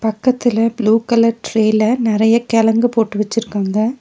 பக்கத்தில blue colour டிரெல நெறைய கெழங்கு போட்டு வச்சிருக்காங்க.